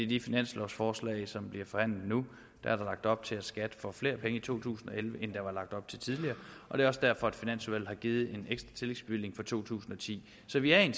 det finanslovforslag som bliver forhandlet nu er lagt op til at skat får flere penge i to tusind og elleve end der var lagt op til tidligere og det er også derfor at finansudvalget har givet en ekstra tillægsbevilling for to tusind og ti så vi er i